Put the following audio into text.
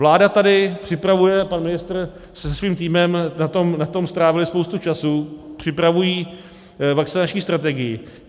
Vláda tady připravuje, pan ministr se svým týmem na tom strávili spoustu času, připravují vakcinační strategii.